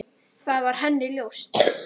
Það var henni ljóst.